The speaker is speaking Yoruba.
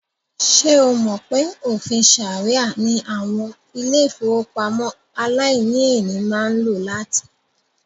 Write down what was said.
Ṣé o mọ̀ pé òfìn ṣàríà ní àwọn ilé-ìfowópamọ́ aláìníèlé máa ń lò láti?